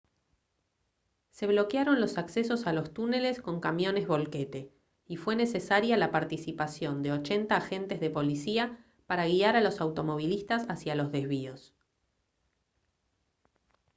se bloquearon los accesos a los túneles con camiones volquete y fue necesaria la participación de 80 agentes de policía para guiar a los automovilistas hacia los desvíos